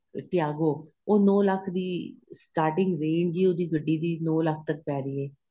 ਤਿਆਗੋ ਉਹ ਨੋ ਲੱਖ਼ ਦੀ starting range ਹੀ ਉਹਦੀ ਗੱਡੀ ਦੀ ਨੋ ਲੱਖ਼ ਤੱਕ ਪੇਹ ਰਹੀ ਏ